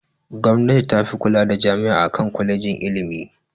Gwamnati tafi kula da jami'a akan kwalejin ilimi.